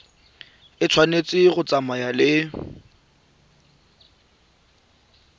e tshwanetse go tsamaya le